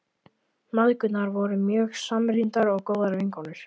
Mæðgurnar voru mjög samrýndar og góðar vinkonur.